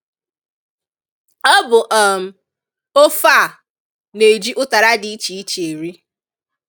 Ọ bụ um ofe a na-eji ụtara dị iche iche eri